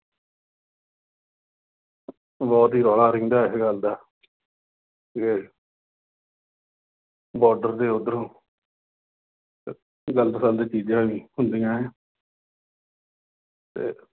ਬਹੁਤ ਹੀ ਰੌਲਾ ਰਹਿੰਦਾ ਇਸ ਗੱਲ ਦਾ, ਕਿ border ਦੇ ਉੱਧਰੋਂ ਗਲਤ ਫਲਤ ਚੀਜ਼ਾਂ ਵੀ ਹੁੰਦੀਆਂ ਅਤੇ